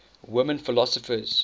women philosophers